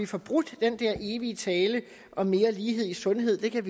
få brudt den der evige tale om mere lighed i sundhed det kan